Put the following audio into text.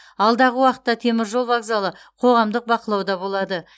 алдағы уақытта теміржол вокзалы қоғамдық бақылауда болады